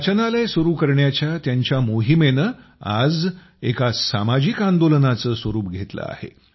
वाचनालय सुरू करण्याची त्यांच्या मोहीमेनं आज एका सामाजिक आंदोलनाचं स्वरूप घेतलं आहे